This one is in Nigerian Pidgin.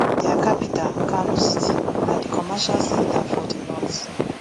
dia capital kano city na di commercial centre for di north